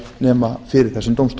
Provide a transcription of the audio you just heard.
nema fyrir þessum dómstól